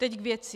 Teď k věci.